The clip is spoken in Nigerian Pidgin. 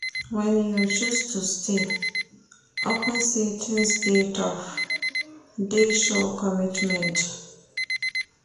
Wen you choose to stay, upon sey tins dey tough, dey show commitment.